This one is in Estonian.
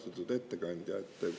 Austatud ettekandja!